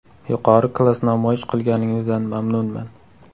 Yuqori klass namoyish qilganingizdan mamnunman.